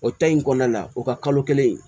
O ta in kɔnɔna la o ka kalo kelen